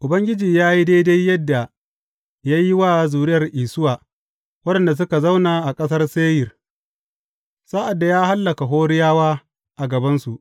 Ubangiji ya yi daidai yadda ya yi wa zuriyar Isuwa waɗanda suka zauna a ƙasar Seyir, sa’ad da ya hallaka Horiyawa a gabansu.